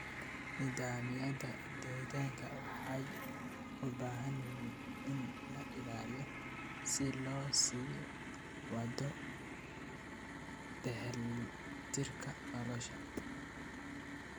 Nidaamyada deegaanka waxay u baahan yihiin in la ilaaliyo si loo sii wado dheelitirka nolosha.